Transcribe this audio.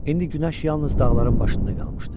İndi günəş yalnız dağların başında qalmışdı.